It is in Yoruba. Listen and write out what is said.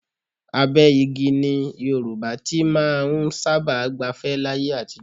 Abẹ́ igi ni Yorùbá ti máa ń sábà gbafẹ́ láyé àtijọ́